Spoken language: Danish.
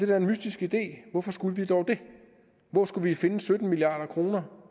da en mystisk idé hvorfor skulle vi dog det hvor skulle vi finde sytten milliard kr